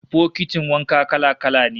Bokitin wanka kala-kala ne